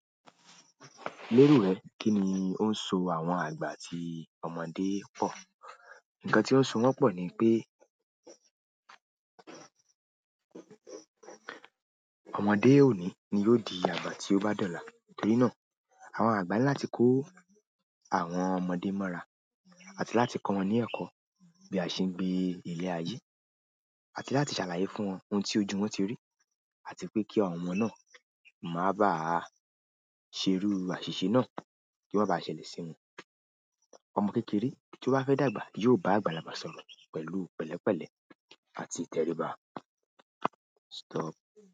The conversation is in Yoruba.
Léro rẹ̀ kín ni ó ń so àwọn àgbà tí ọmọdé pọ̀? Nkan ti o n so won po ni pe, ọmọdé o ni ni yóò dí àgbà tí ó bá dọ̀la. Torí náà, àwọn àgba ní láti kọ́ àwọn ọmọdé mọ́ra àti láti kọ́ wọn ní ẹ̀kọ́ bí a ṣe ń gbé ilẹ̀ ayé àti láti ṣàlàyé fún wọn ohun tí ojú wọn ti rí àti pé kí àwọn ọmọ náà má ba à ṣerú àṣìṣe náà kí ọ́ ma baá ṣẹlẹ̀ sí wọn. Ọmọ kékeré tí ó bá fẹ́ dàgbà yóò bá àgbàlagbà sọ̀rọ̀ pẹ̀lú pẹ̀lẹ́pẹ̀lẹ́ àti ìtẹríba. Stop.